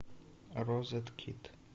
розеткид